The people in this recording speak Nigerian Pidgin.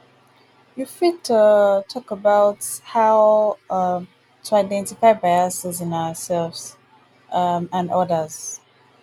you fit um talk about how um to identify biases in ourselves um and odas.